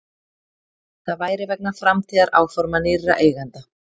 Það væri vegna framtíðaráforma nýrra eigenda